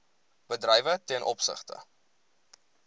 bedrywe ten opsigte